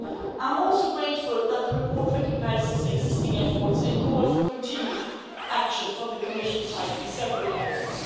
I am also grateful that the report recognises existing efforts and calls for continued action from the Commission's side in several areas.